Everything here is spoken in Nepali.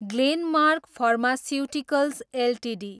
Glenmark pharmaceuticals Ltd